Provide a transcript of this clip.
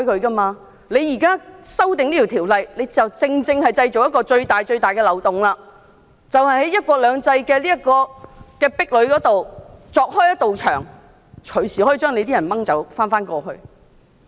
政府現時提出的修例建議，便正正製造一個最大的漏洞，在"一國兩制"的壁壘下鑿開一個洞，隨時令在港人士被帶往大陸。